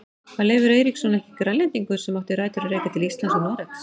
Var Leifur Eiríksson ekki Grænlendingur sem átti rætur að rekja til Íslands og Noregs?